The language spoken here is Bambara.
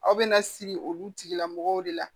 Aw bɛna siri olu tigilamɔgɔw de la